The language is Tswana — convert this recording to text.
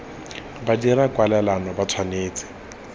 ba dirang kwalelano ba tshwanetse